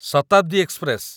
Shatabdi express